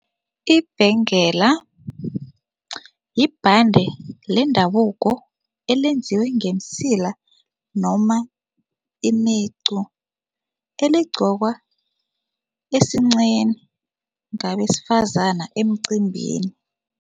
Ibhengela yibhande lendabuko elenziwe ngemisila noma imicu, eligqokwa esinqeni ngabesifazana emcimbini.